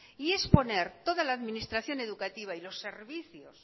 y es poner toda la administración educativa y los servicios